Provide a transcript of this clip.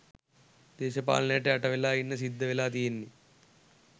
දේශපාලනයට යට වෙලා ඉන්න සිද්ධ වෙලා තියෙන්නේ